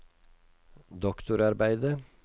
doktorarbeidet